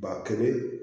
Ba kelen